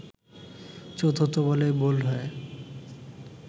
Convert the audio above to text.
চতুর্থ বলেই বোল্ড হয়ে